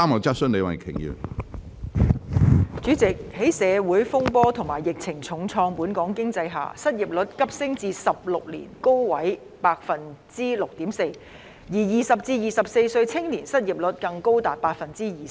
主席，在社會風波及疫情重創本港經濟下，失業率急升至16年高位的百分之六點四，而20至24歲青年的失業率更高達百分之二十。